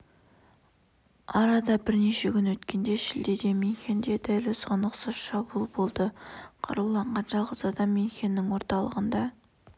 арада бірнеше күн өткенде шілдеде мюнхенде дәл осыған ұқсас шабуыл болды қаруланған жалғыз адам мюнхеннің орталығында